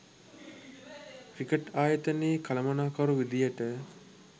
cricket ආයතනයේ කළමනාකරු විදියට